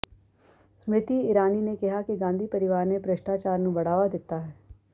ਸਮ੍ਰਿਤੀ ਇਰਾਨੀ ਨੇ ਕਿਹਾ ਕਿ ਗਾਂਧੀ ਪਰਿਵਾਰ ਨੇ ਭ੍ਰਿਸ਼ਟਾਚਾਰ ਨੂੰ ਬੜ੍ਹਾਵਾ ਦਿੱਤਾ ਹੈ